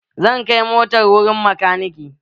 Zan kai motar wurin makaniki.